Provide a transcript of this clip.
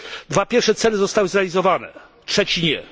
Dwa pierwsze cele zostały zrealizowane, trzeci nie.